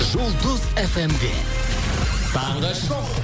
жұлдыз фмде таңғы шоу